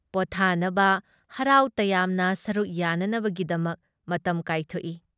ꯄꯣꯠꯊꯥꯅꯕ, ꯍꯔꯥꯎ ꯇꯌꯥꯝꯅ ꯁꯔꯨꯛ ꯌꯥꯅꯅꯕꯒꯤꯗꯃꯛ ꯃꯇꯝ ꯀꯥꯏꯊꯣꯛꯏ ꯫